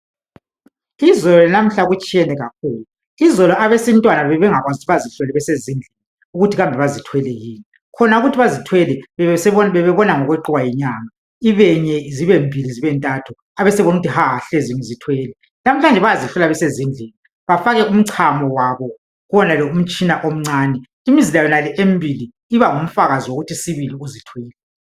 Izolo lanamuhla kutshiyene kakhulu. Izolo abesintwana bebengakwanisi ukuthi bazihlole besezindlini ukuthi kambe bazithwele yini. Khona ukuthi bazithwele bebebona ngokweqiwa yinyanga ibenye, zibe mbili, zibe ntathu, abesebona ukuthi haa hlezi ngizithwele. Namhlanze bayazihlola besezindlini bafake umchamo wabo kuwonalo umtshina omncane imizila yonale emibili iba ngumfakazi wokuthi sibili uzithwele.